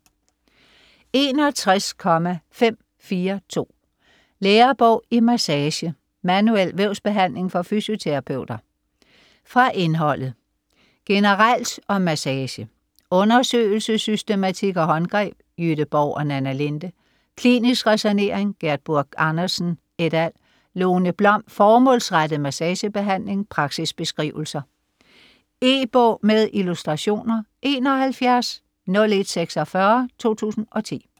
61.542 Lærebog i massage: manuel vævsbehandling for fysioterapeuter Fra indholdet: Generelt om massage; Undersøgelsessystematik og håndgreb / Jytte Borg & Nanna Linde. Klinisk ræsonnering / Gerd Buch Andersen ... et al. Lone Blom: Formålsrettet massagebehandling - praksisbeskrivelser. E-bog med illustrationer 710146 2010.